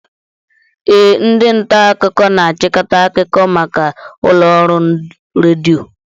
Ee, ndị nta akụkọ na-achịkọta akụkọ maka ụlọ ọrụ redio